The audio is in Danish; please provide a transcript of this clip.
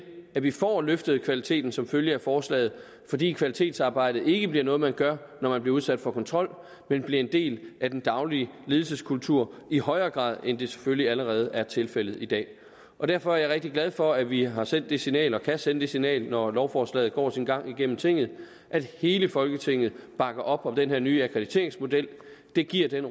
at vi får løftet kvaliteten som følge af forslaget fordi kvalitetsarbejdet ikke bliver noget man gør når man bliver udsat for kontrol men bliver en del af den daglige ledelseskultur i højere grad end det selvfølge allerede er tilfældet i dag derfor er jeg rigtig glad for at vi har sendt det signal og kan sende det signal når lovforslaget går sin gang igennem tinget at hele folketinget bakker op om den her nye akkrediteringsmodel det giver den